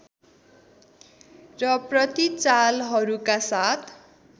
र प्रतिचालहरूका साथ